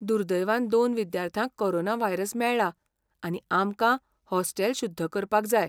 दुर्दैवान दोन विद्यार्थ्यांक कोरोना व्हायरस मेळ्ळा, आनी आमकां हॉस्टेल शुद्ध करपाक जाय.